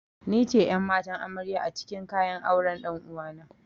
Nice ƴan'matan amarya acikin kayan auren ɗan'uwana.